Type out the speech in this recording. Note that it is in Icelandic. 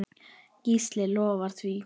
Gísli lofar því.